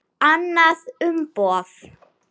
Annað umboð.